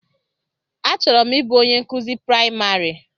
Achọrọ m ịbụ onye nkụzi praịmarị.